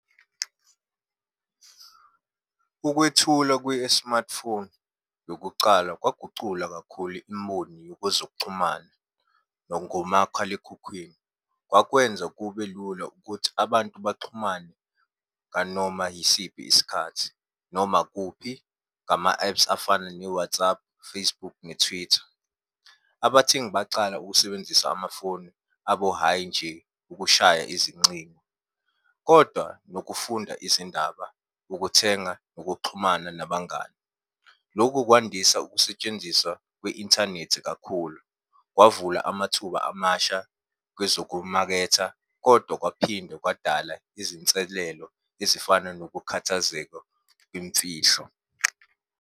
Ukwethulwa kwe-smartphone yokucala kwagucula kakhulu imboni yokwezokuchumana nangomakhalekhukhwini. Kwakwenza kube lula ukuthi abantu baxhumane nganoma yisiphi isikhathi, noma kuphi, ngama-ephu afana ne-WhatsApp, Facebook ne-Twitter. Abathengi bacala ukusebenzisa amafoni abo, hhayi nje ukushaya izincingo, kodwa nokufunda izindaba, ukuthenga nokuxhumana nabangani. Lokhu kwandisa ukusetshenziswa kwe-inthanethi kakhulu, kwavula amathuba amasha kwezokumaketha, kodwa kwaphinde kwadala izinselelo ezifana nokukhathazeka kwemfihlo.